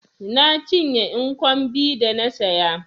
Na cinye nkwobi da na saya.